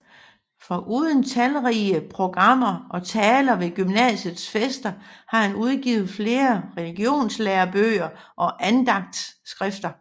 Foruden talrige programmer og taler ved gymnasiets fester har han udgivet flere religionslærebøger og andagtsskrifter